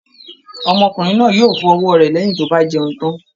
Ọmọkùnrin náà yóò fọ ọwọ́ rẹ̀ lẹ́yìn tó bá jẹun tán